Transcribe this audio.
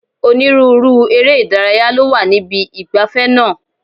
Onírúurú eré ìdárayá ló wà níbi ìgbafẹ́ náà.